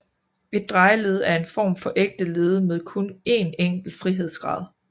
Et drejeled er en form for ægte led med kun én enkelt frihedsgrad